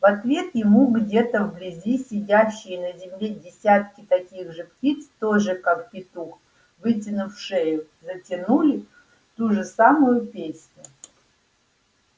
в ответ ему где-то вблизи сидящие на земле десятки таких же птиц тоже как петух вытянув шею затянули ту же самую песню